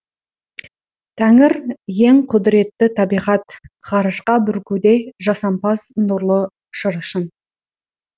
тәңір ең құдіретті табиғат ғарышқа бүркуде жасампаз нұрлы шырышын